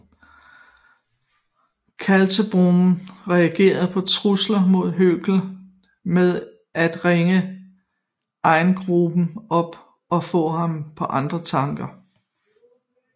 Kaltenbrunner reagerede på truslen mod Högler med at ringe Eigruber op og få ham på andre tanker